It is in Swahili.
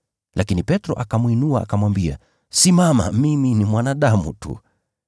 Lakini Petro akamwinua akamwambia, “Simama, mimi ni mwanadamu tu.”